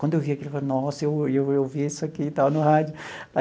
Quando eu vi aquilo, eu falei, nossa, eu olhei eu ouvi isso aqui e tal no rádio.